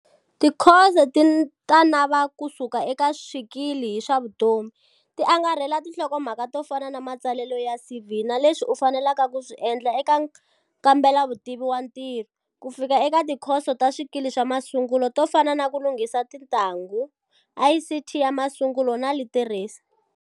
Tikhoso ti ta nava kusuka eka swikili hi swa vutomi, ti angarhela tinhlokomhaka to fana na matsalelo ya CV na leswi u faneleke ku swi endla eka nkambelovutivi wa ntirho, kufika eka tikhoso ta swikili swa masungulo, to fana na ku lunghisa tintangu, ICT ya masungulo na litiresi.